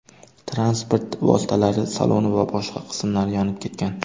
Transport vositalari saloni va boshqa qismlari yonib ketgan.